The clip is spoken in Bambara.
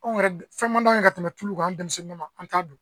Anw yɛrɛ fɛnmanw ye ka tɛmɛ tulu kan denmisɛnninw ma an t'a dun